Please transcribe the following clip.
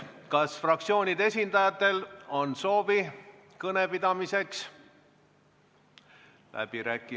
Kas fraktsioonide esindajatel on soovi kõne pidamiseks?